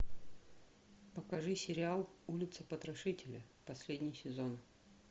покажи сериал улица потрошителя последний сезон